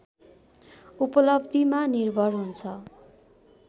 उपलब्धिमा निर्भर हुन्छ